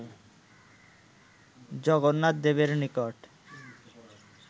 জগন্নাথদেবের নিকট